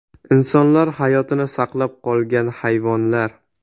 Insonlar hayotini saqlab qolgan hayvonlar .